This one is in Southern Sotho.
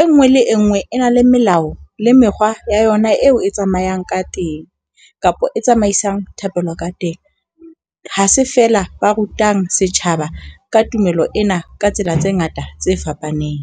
E ngwe le e ngwe e na le melao le mekgwa ya yona eo e tsamayang ka teng, kapa e tsamaisang thapelo ka teng. Ha se fela ba rutang setjhaba ka tumelo ena ka tsela tse ngata tse fapaneng.